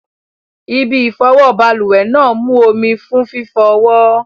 Ibi ìfọwọ́ balùwẹ̀ náà mú omi fún fífọ ọwọ́.